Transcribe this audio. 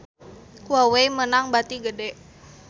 Huawei meunang bati gede